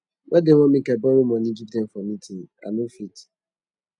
why dem want make i borrow moni give dem for meeting i no fit